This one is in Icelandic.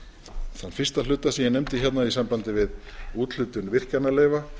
þann fyrsta hluta sem ég nefndi hérna í sambandi við úthlutun virkjanaleyfa